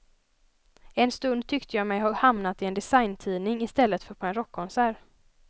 En stund tyckte jag mig ha hamnat i en designtidning i stället för på en rockkonsert.